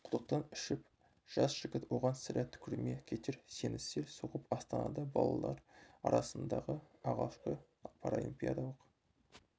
құдықтан ішіп жас жігіт оған сірә түкірме кетер сені сел соғып астанада балалар арасындағы алғашқы паралимпиадалық